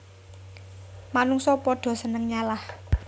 Manungsa padha seneng nyalah